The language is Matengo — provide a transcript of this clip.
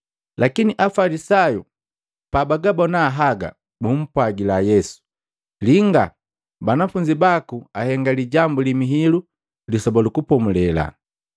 Lakini Afalisayu pabagabona haga, bumpwagila Yesu, “Linga! Banafunzi baku ahenga lijambu li mihilu Lisoba lu Kupomulela.”